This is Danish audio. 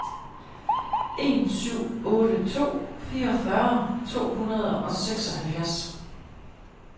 en syv otte to fireogfyrre to hundrede og seksoghalvfjerds